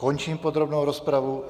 Končím podrobnou rozpravu.